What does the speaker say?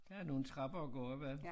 Der er nogle trapper at gå opad